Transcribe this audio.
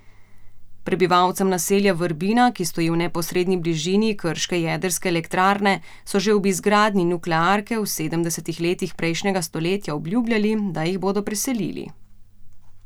Prebivalcem naselja Vrbina, ki stoji v neposredni bližini krške jedrske elektrarne, so že ob izgradnji nuklearke v sedemdesetih letih prejšnjega stoletja obljubljali, da jih bodo preselili.